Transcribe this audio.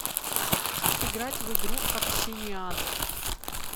сыграть в игру общениан